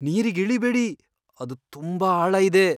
ನೀರಿಗ್ ಇಳೀಬೇಡಿ. ಅದ್ ತುಂಬಾ ಆಳ ಇದೆ!